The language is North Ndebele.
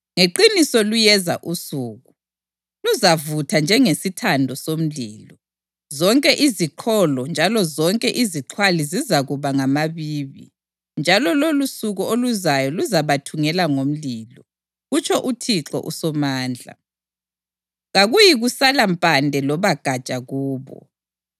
“Ngeqiniso luyeza usuku; luzavutha njengesithando somlilo. Zonke iziqholo njalo zonke izixhwali zizakuba ngamabibi, njalo lolosuku oluzayo luzabathungela ngomlilo,” kutsho uThixo uSomandla. “Kakuyikusala mpande loba gatsha kubo.